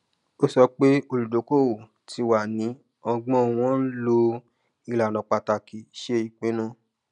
ó sọ pé olùdókòwò ti wá ní ọgbọn wọn ń lo ìlànà pàtàkì ṣe ìpinnu